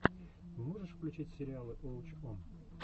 можешь включить сериалы уоч он